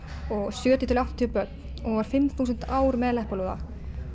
sjötíu til áttatíu börn og var fimm þúsund ár með leppalúða